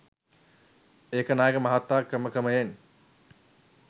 ඒකනායක මහතා ක්‍රමක්‍රයෙන්